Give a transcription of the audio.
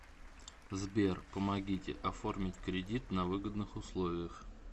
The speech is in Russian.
сбер помогите оформить кредит на выгодных условиях